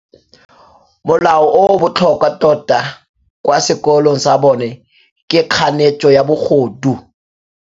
Molao o o botlhokwa tota kwa sekolong sa bone ke kganetsô ya bogodu.